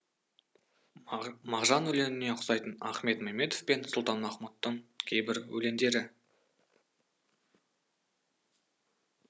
мағжан өлеңіне ұқсайтын ахмет мәметов пен сұлтанмахмұт тың кейбір өлеңдері